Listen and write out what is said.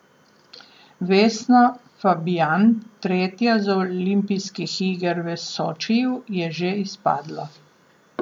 Vesna Fabjan, tretja z olimpijskih iger v Sočiju, je že izpadla.